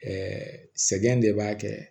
sɛgɛn de b'a kɛ